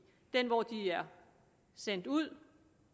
den hvor de er sendt ud